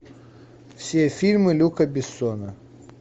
все фильмы люка бессона